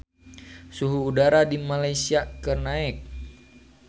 Suhu udara di Malaysia keur naek